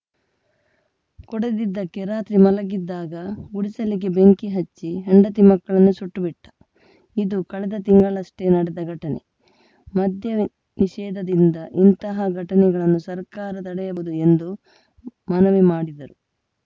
ಕೊಡದಿದ್ದಕ್ಕೆ ರಾತ್ರಿ ಮಲಗಿದ್ದಾಗ ಗುಡಿಸಿಲಿಗೆ ಬೆಂಕಿ ಹಚ್ಚಿ ಹೆಂಡತಿ ಮಕ್ಕಳನ್ನೇ ಸುಟ್ಟುಬಿಟ್ಟ ಇದು ಕಳೆದ ತಿಂಗಳಷ್ಟೇ ನಡೆದ ಘಟನೆ ಮದ್ಯ ನಿಷೇಧದಿಂದ ಇಂತಹ ಘಟನೆಗಳನ್ನು ಸರ್ಕಾರ ತಡೆಯಬಹುದು ಎಂದು ಮನವಿ ಮಾಡಿದರು